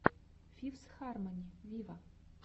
фифс хармони виво